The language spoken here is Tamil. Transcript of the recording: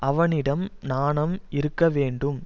அவனிடம் நாணம் இருக்க வேண்டும்